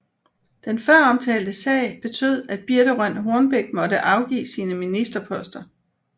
Den føromtalte sag betød at Birthe Rønn Hornbech måtte afgive sine ministerposter